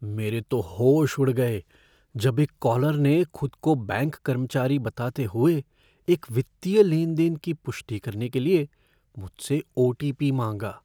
मेरे तो होश उड़ गए जब एक कॉलर ने खुद को बैंक कर्मचारी बताते हुए एक वित्तीय लेने देन की पुष्टि करने के लिए मुझसे ओ.टी.पी. माँगा।